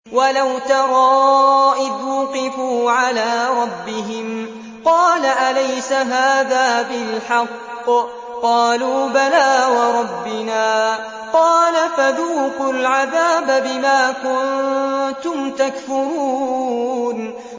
وَلَوْ تَرَىٰ إِذْ وُقِفُوا عَلَىٰ رَبِّهِمْ ۚ قَالَ أَلَيْسَ هَٰذَا بِالْحَقِّ ۚ قَالُوا بَلَىٰ وَرَبِّنَا ۚ قَالَ فَذُوقُوا الْعَذَابَ بِمَا كُنتُمْ تَكْفُرُونَ